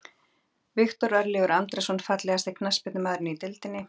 Viktor Örlygur Andrason Fallegasti knattspyrnumaðurinn í deildinni?